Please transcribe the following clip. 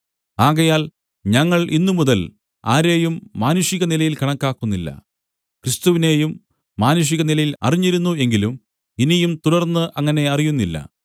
ആകയാൽ ഞങ്ങൾ ഇന്നുമുതൽ ആരെയും മാനുഷികനിലയിൽ കണക്കാക്കുന്നില്ല ക്രിസ്തുവിനെയും മാനുഷികനിലയിൽ അറിഞ്ഞിരുന്നു എങ്കിലും ഇനിയും തുടർന്ന് അങ്ങനെ അറിയുന്നില്ല